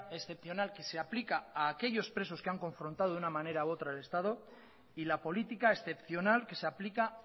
excepcional que se aplica a aquellos presos que han confrontado de una manera u otra el estado y la política excepcional que se aplica